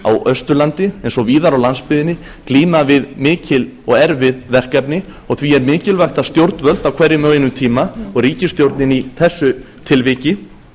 austurlandi eins og víðar á landsbyggðinni glíma við mikil og erfið verkefni og því er mikilvægt að stjórnvöld á hverjum og einum tíma og ríkisstjórnin í þessu tilviki